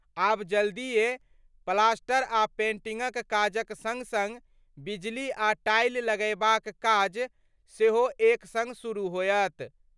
आब जल्दिये प्लास्टर आ पेंटिंगक काजक संग-संग बिजली आ टाइल लगयबाक काज सेहो एक संग शुरू होयत।